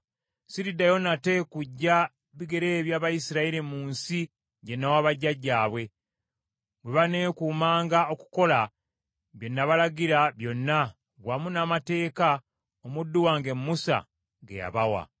Siriddayo nate kujja bigere eby’Abayisirayiri mu nsi gye nawa bajjajjaabwe, bwe baneekuumanga okukola bye nabalagira byonna wamu n’amateeka omuddu wange Musa ge yabawa.”